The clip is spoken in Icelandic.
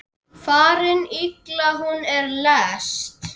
Farin illa hún er lest.